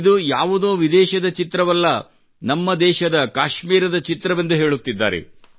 ಇದು ಯಾವುದೋ ವಿದೇಶದ ಚಿತ್ರವಲ್ಲ ನಮ್ಮ ದೇಶದ ಕಾಶ್ಮೀರದ ಚಿತ್ರವೆಂದು ಹೇಳುತ್ತಿದ್ದಾರೆ